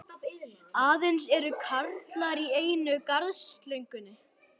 Aðeins er kamar í einu garðshorninu.